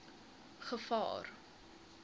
gevaar